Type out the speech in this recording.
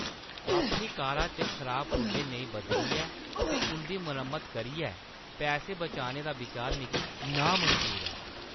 अपनी कारा च खराब पुर्जे नेईं बदलियै ते उंʼदी मरम्मत करियै पैसे बचाने दा बिचार मिगी नामंजूर ऐ।